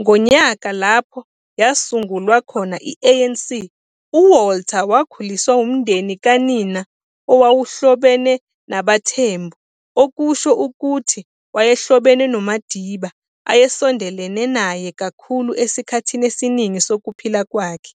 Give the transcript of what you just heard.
ngonyaka lapho yasungulwa khona i-ANC. UWalter wakhuliswa umndeni kanina owawuhlobene nabaThembu okusho ukuthi wayehlobene noMadiba ayesondelene naye kakhulu esikhathini esiningi sokuphila kwakhe.